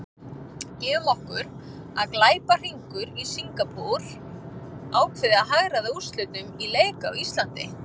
Gefum okkur að glæpahringur í Singapúr ákveði að hagræða úrslitum í leik á Íslandi.